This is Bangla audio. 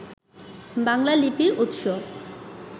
বাংলা লিপির উৎস